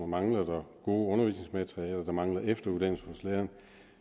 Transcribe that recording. mangler gode undervisningsmaterialer og der mangler efteruddannelse hos lærerne